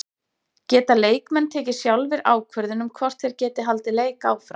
Geta leikmenn tekið sjálfir ákvörðun um hvort þeir geti haldið leik áfram?